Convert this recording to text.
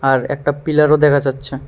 আর একটা পিলারও দেখা যাচ্ছে।